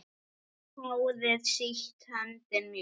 Hárið sítt, höndin mjúk.